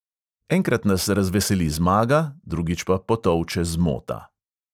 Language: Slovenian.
"Enkrat nas razveseli zmaga, drugič pa potolče zmota."